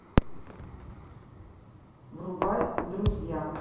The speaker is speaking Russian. врубай друзья